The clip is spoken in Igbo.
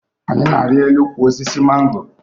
Anyị na-arị elu ukwu osisi mango